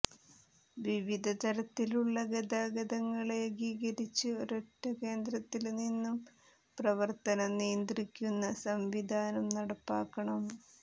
വിവിധ തരത്തിലുള്ള ഗതാഗതങ്ങള് ഏകീകരിച്ച് ഒരൊറ്റ കേന്ദ്രത്തില്നിന്നും പ്രവര്ത്തനം നിയന്ത്രിക്കുന്ന സംവിധാനം നടപ്പാക്കണം